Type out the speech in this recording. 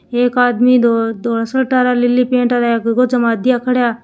एक आदमी दो आदमी धोली सर्ट नीली पैंट गोजा मे हाथ दिया खड़ा है।